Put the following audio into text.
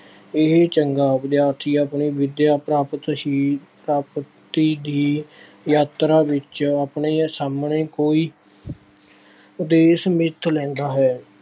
ਇਹ ਚੰਗਾ ਵਿਦਿਆਰਥੀ ਆਪਣੇ ਵਿੱਦਿਆ ਪ੍ਰਾਪਤ ਹੀ, ਪ੍ਰਾਪਤੀ ਦੀ ਯਾਤਰਾ ਵਿੱਚ ਆਪਣੇ ਸਾਹਮਣੇ ਕੋਈ ਉਦੇਸ਼ ਮਿੱਥ ਲੈਂਦਾ ਹੈ।